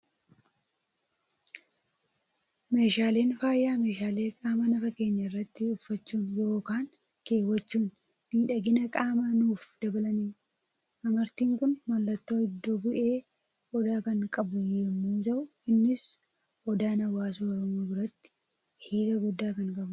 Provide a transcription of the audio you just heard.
Meeshaaleen faayaa, meeshaalee qaama nafa keenyaa irratti uffachuun yookaan keewwachuun miidhagina qaamaa nuuf dabalanidha. Amartiin Kun, mallattoo iddo bu'ee odaa kan qabu yemmuu ta'u, innis odaan hawaasa Oromoo biratti hiika guddaa kan qabudha.